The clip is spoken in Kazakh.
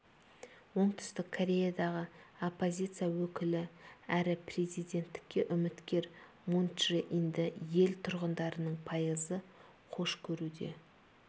оңтүстік кореядағы оппозиция өкілі әрі президенттікке үміткер мун чжэ инді ел тұрғындарының пайызы қош көруде